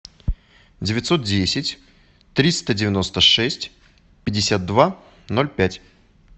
девятьсот десять триста девяносто шесть пятьдесят два ноль пять